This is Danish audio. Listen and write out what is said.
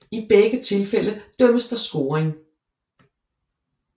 I begge tilfælde dømmes der scoring